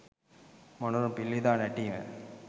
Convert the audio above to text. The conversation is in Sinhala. මොණරුන් පිල් විදහා නැටීම.